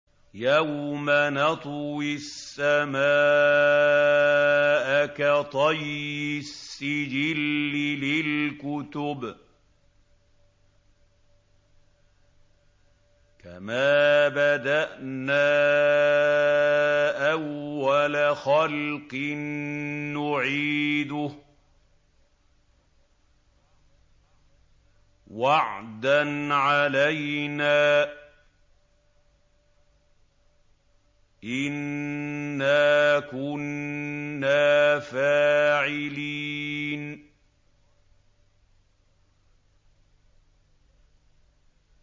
يَوْمَ نَطْوِي السَّمَاءَ كَطَيِّ السِّجِلِّ لِلْكُتُبِ ۚ كَمَا بَدَأْنَا أَوَّلَ خَلْقٍ نُّعِيدُهُ ۚ وَعْدًا عَلَيْنَا ۚ إِنَّا كُنَّا فَاعِلِينَ